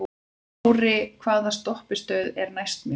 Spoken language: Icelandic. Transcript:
Ári, hvaða stoppistöð er næst mér?